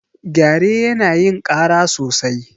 Gyare yana yin ƙara sosai.